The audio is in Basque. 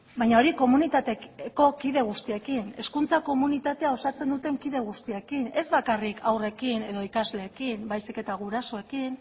baina hori komunitateko kide guztiekin hezkuntza komunitatea osatzen duten kide guztiekin ez bakarrik haurrekin edo ikasleekin baizik eta gurasoekin